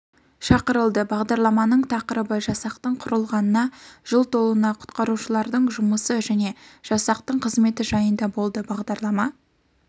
шақырылды бағдарламаның тақырыбы жасақтың құрылғанына жыл толуына құтқарушылардың жұмысы және жасақтың қызметі жайында болды бағдарлама